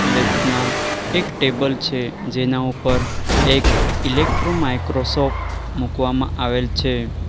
Left માં એક table છે જેના ઉપર એક ઇલેક્ટ્રો માઈક્રોસોફ્ટ મૂકવામાં આવેલ છે.